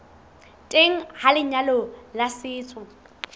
teng ha lenyalo la setso